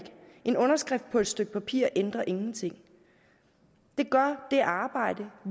en underskrift på et stykke papir ændrer ingenting det gør det arbejde